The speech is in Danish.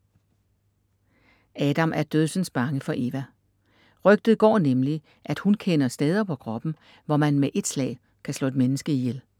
Adam er dødsens bange for Eva. Rygtet går nemlig at hun kender steder på kroppen, hvor man med et slag kan slå et menneske ihjel.